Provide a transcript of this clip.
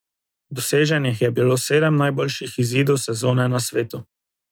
Doseženih je bilo sedem najboljših izidov sezone na svetu.